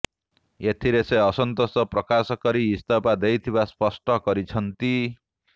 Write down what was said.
ଏଥିରେ ସେ ଅସନ୍ତୋଷ ପ୍ରକାଶ କରି ଇସ୍ତଫା ଦେଇଥିବା ସ୍ପଷ୍ଟ କରିଛନ୍ତି